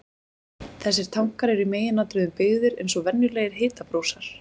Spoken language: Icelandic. Þessir tankar eru í meginatriðum byggðir eins og venjulegir hitabrúsar.